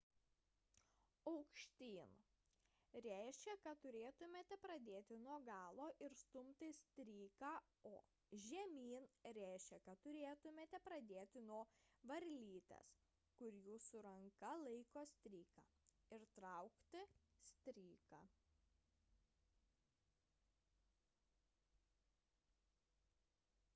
aukštyn reiškia kad turėtumėte pradėti nuo galo ir stumti stryką o žemyn reiškia kad turėtumėte pradėti nuo varlytės kur jūsų ranka laiko stryką ir traukti stryką